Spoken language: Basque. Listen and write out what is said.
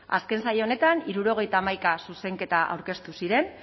azken saio honetan hirurogeita hamaika zuzenketa aurkeztu ziren